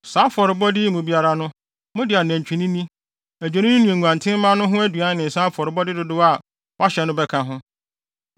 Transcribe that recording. Saa afɔrebɔde yi mu biara no, mode anantwinini, adwennini ne nguantenmma no ho aduan ne nsa afɔrebɔde dodow a wɔahyɛ no bɛka ho.